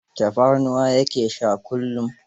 Tafarnuwa ya ke sha kullum.